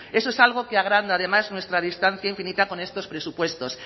eso es algo que agranda además nuestra distancia infinita con estos presupuestos